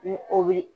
Ni o bɛ